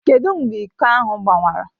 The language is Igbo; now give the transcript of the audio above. Kedụ mgbe iko ahụ gbawara?